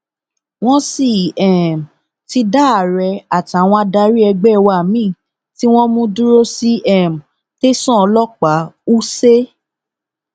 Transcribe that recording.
wọn sì um ti dá àárẹ àtàwọn adarí ẹgbẹ wa mìín tí wọn mú dúró sí um tẹsán ọlọpàá wúṣẹ